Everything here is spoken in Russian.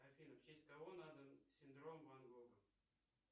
афина в честь кого назван синдром ван гога